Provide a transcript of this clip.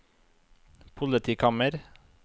politikammer